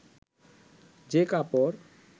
যে কাপড়